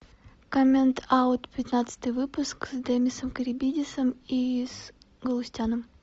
коммент аут пятнадцатый выпуск с демисом карибидисом и с галустяном